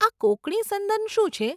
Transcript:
આ કોંકણી સંદન શું છે?